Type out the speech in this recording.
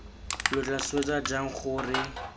lo tla swetsa jang gore